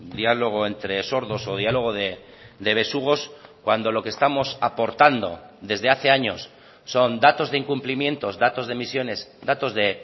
diálogo entre sordos o diálogo de besugos cuando lo que estamos aportando desde hace años son datos de incumplimientos datos de emisiones datos de